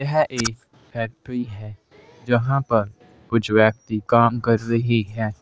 यह एक फैक्ट्री है जहां पर कुछ व्यक्ति काम कर रही है।